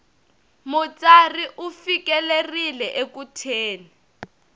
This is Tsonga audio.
mutsari u fikelerile eku thyeni